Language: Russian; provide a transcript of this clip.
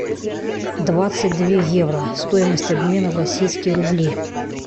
двадцать две евро стоимость обмена в российские рубли